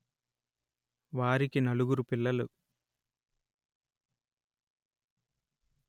వారికి నాలుగురు పిల్లలు